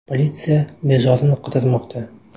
Politsiya bezorini qidirmoqda.